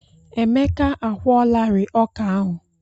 Emeka a kwụọlarịị ọkà ahụ.